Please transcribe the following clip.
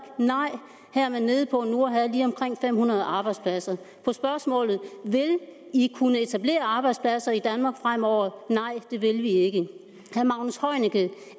nej her er man nede på nu at have lige omkring fem hundrede arbejdspladser på spørgsmålet vil i kunne etablere arbejdspladser i danmark fremover er nej det vil vi ikke